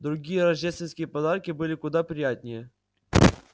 другие рождественские подарки были куда приятнее